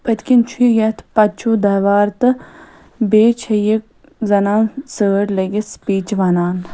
پٔتۍ کِنۍ چُھ یتھ پتہٕ چُھ دیوار تہٕ بییٚہِ چھ یہِ زنان سٲڑۍ لٲگِتھ سپیٖچ وَنان